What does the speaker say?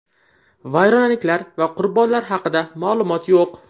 Vayronaliklar va qurbonlari haqida ma’lumot yo‘q.